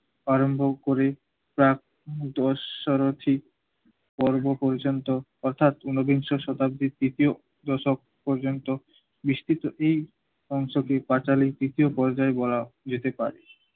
আরম্ভ করে প্রাক দশসারচি পর্ব পর্যন্ত অর্থাৎ উনবিংশ শতাব্দীর দ্বিতীয় দশক পর্যন্ত বৃষ্টিতো কটি অংশকে পাঁচালীর তৃতীয় পর্যায় বলা যেতে পারে।